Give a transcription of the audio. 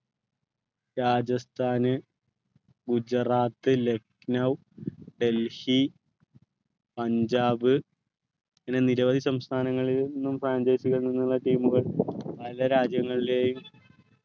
രാജസ്ഥാന് ഗുജറാത്ത് ലക്നൗ ഡൽഹി പഞ്ചാബ് അങ്ങനെ നിരവധി സംസ്ഥാനങ്ങളിൽ നിന്നും franchasee കളിൽ നിന്നുള്ള team കൾ പല രാജ്യങ്ങളിലെയും